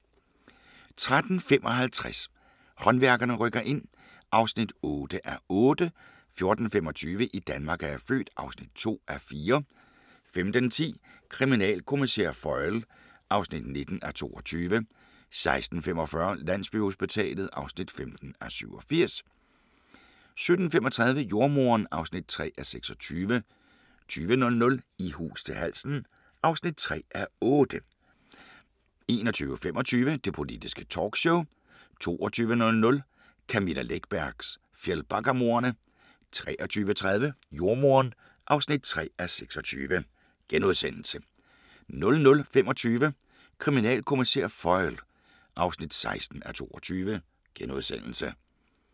13:55: Håndværkerne rykker ind (8:8) 14:25: I Danmark er jeg født (2:4) 15:10: Kriminalkommissær Foyle (19:22) 16:45: Landsbyhospitalet (15:87) 17:35: Jordemoderen (3:26) 20:00: I hus til halsen (3:8) 21:25: Det politiske talkshow 22:00: Camilla Läckbergs Fjällbackamordene 23:30: Jordemoderen (3:26)* 00:25: Kriminalkommissær Foyle (16:22)*